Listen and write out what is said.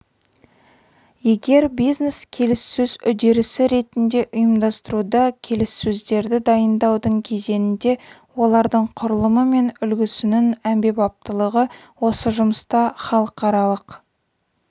егер бизнес-келіссөз үдерісі ретінде ұйымдастыруда келіссөздерді дайындаудың кезеңінде олардың құрылымы мен үлгісінің әмбебаптылығы осы жұмыста халықаралық